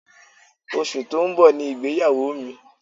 Oṣù tó ń bọ̀ ni ìgbéyàwó mi